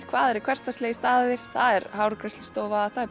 hvað eru hversdagslegir staðir það er hárgreiðslustofa